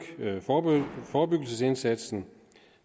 forebyggelsesindsatsen